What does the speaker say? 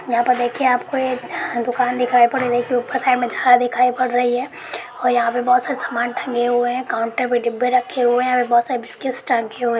यहा पर देखिए आपको एक दुकान दिखाई पड़ रही है ऊपर साइड में धरा दिखाई पड़ रही है और यहा पे बहुत सारे सामान टंगे हुए हैं काउन्टर पे डिब्बे रखे हुए हैं और बहुत सारे बिस्किट्स टंगे हुए --